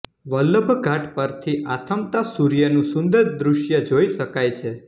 વલ્લભઘાટ પરથી આથમતા સૂર્યનું સુંદર દૃશ્ય જોઈ શકાય છે